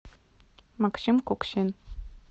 максим куксин